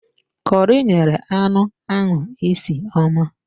Kọri nyere anụ ahụ isi ọma